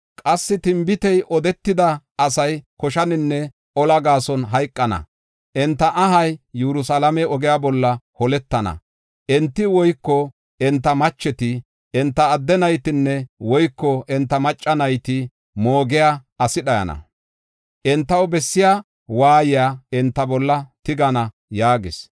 Qassi tinbitey odetida asay koshanne ola gaason hayqana; enta ahay Yerusalaame ogiya bolla holetana. Enta woyko enta macheta, enta adde naytanne woyko enta macca nayta moogiya asi dhayana. Entaw bessiya waayiya enta bolla tigana” yaagis.